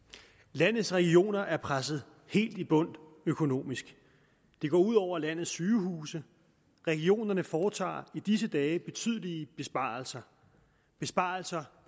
landets regioner er presset helt i bund økonomisk det går ud over landets sygehuse regionerne foretager i disse dage betydelige besparelser besparelser